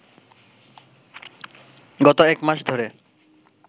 গত একমাস ধরে